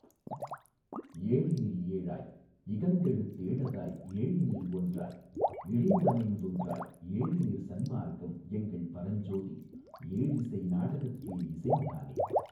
ஏழினில் ஏழாய் இகந்தெழுத் தேழதாய் ஏழினில் ஒன்றாய் இழிந்தமைந் தொன்றாய் ஏழினிற் சன்மார்க்கம் எங்கள் பரஞ்சோதி ஏழிசை நாடகத் தேஇசைந் தானே.